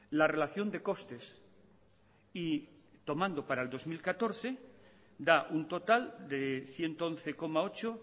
la relación de costes y tomando para el dos mil catorce da un total de ciento once coma ocho